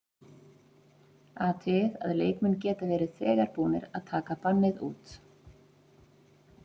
Athugið að leikmenn geta verið þegar búnir að taka bannið út.